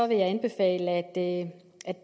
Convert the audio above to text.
jeg anbefale at at